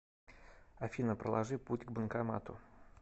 афина проложи путь к банкомату